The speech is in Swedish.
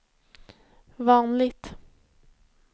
vanligt